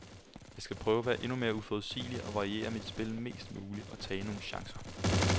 Jeg skal prøve at være endnu mere uforudsigelig og variere mit spil mest muligt og tage nogle chancer.